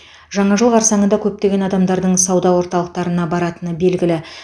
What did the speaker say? жаңа жыл қарсаңында көптеген адамдардың сауда орталықтарына баратыны белгілі